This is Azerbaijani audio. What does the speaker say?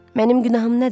Mənim günahım nədir?